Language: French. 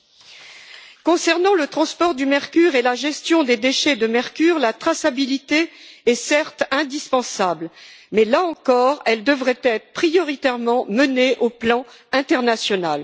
En ce qui concerne le transport du mercure et la gestion des déchets de mercure, la traçabilité est certes indispensable mais, là encore, elle devrait être prioritairement menée au plan international.